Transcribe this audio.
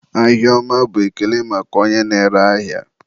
ahịa ọma bụ ekele maka onye na-ere ahịa.